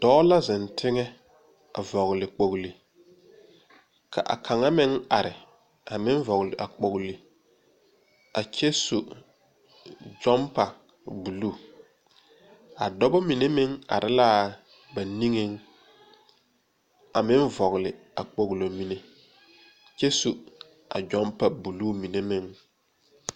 Dɔɔ la zeŋ teŋa a vɔgle kpogle ka a kaŋa meŋ are a meŋ vɔgle a kpogle a kyɛ su gyɔmpa bluu a dɔbɔ mine meŋ are laa ba niŋeŋ a meŋ vɔgle a kpoglo mine kyɛ su a gyɔmpa bluu mine meŋ.